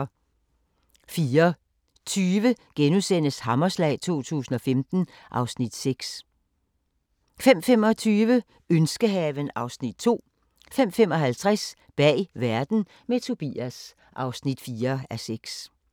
04:20: Hammerslag 2015 (Afs. 6)* 05:25: Ønskehaven (Afs. 2) 05:55: Bag verden – med Tobias (4:6)